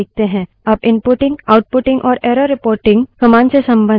अब inputting outputting और error reporting commands से संबंधित तीन विशेष कार्य हैं